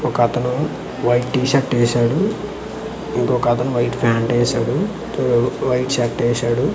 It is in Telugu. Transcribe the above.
ఒక అతను వైట్ టీషర్ట్ యేసాడు ఇంకొకతను వైట్ పాయింట్ వేశాడు వైట్ షర్ట్ వేశాడు.